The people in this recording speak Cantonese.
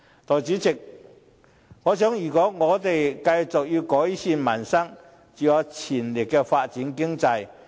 代理主席，我認為如果我們要繼續改善民生，就要全力發展經濟。